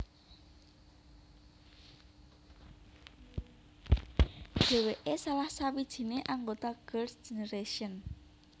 Dheweke salah sawijine anggota Girls Generation